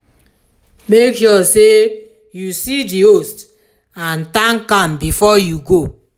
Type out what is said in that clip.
make sure say you see di host and thank am before you go